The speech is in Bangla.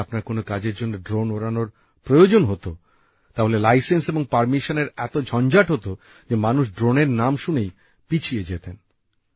যদি আপনার কোন কাজের জন্য ড্রোন ওড়ানোর প্রয়োজন হত তাহলে লাইসেন্স এবং পারমিশনের এত ঝঞ্ঝাট হত যে মানুষ ড্রোনের নাম শুনেই পিছিয়ে যেতেন